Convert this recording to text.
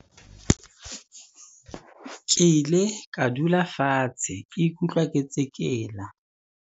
Ke ile ka dula fatshe ke ikutlwa ke tsekela.